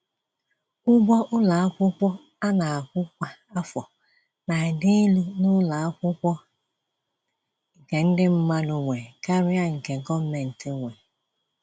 Ụgwọ ụlọ akwụkwọ ana akwụ kwa afọ n'adị élú n'ụlọ Akwụkwọ nke ndị mmadụ nwe karịa nke gọọmentị nwe.